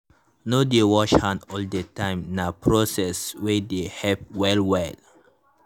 to dey wash hand all the the time nah proceed wey dey help well well.